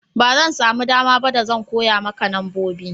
ba zan samu dama ba da zan koya maka nambobi